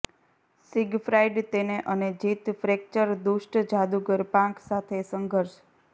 Siegfried તેને અને જીત ફ્રેક્ચર દુષ્ટ જાદુગર પાંખ સાથે સંઘર્ષ